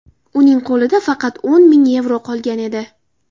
Uning qo‘lida faqat o‘n ming yevro qolgan edi.